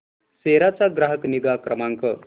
सेरा चा ग्राहक निगा क्रमांक